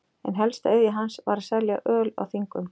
Ein helsta iðja hans var að selja öl á þingum.